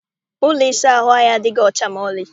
Ụlọ ịsa ahụ anyị adịghị ọcha maọlị.